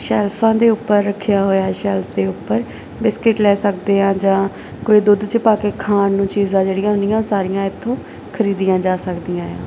ਸ਼ੈਲਫਾਂ ਦੇ ਉੱਪਰ ਰੱਖਿਆ ਹੋਇਆ ਹੈ ਸ਼ੈਲਫ਼ਸ ਦੇ ਉੱਪਰ ਬਿਸਕਿਟ ਲੈ ਸਕਦੇ ਆਂ ਜਾਂ ਕੋਈ ਦੁੱਧ 'ਚ ਪਾ ਕੇ ਖਾਣ ਨੂੰ ਚੀਜ਼ਾਂ ਜਿਹੜੀਆਂ ਹੁੰਦੀਆਂ ਉਹ ਸਾਰੀਆਂ ਇੱਥੋਂ ਖਰੀਦੀਆਂ ਜਾ ਸਕਦੀਆਂ ਏ ਆ।